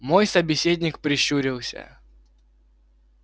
мой собеседник прищурился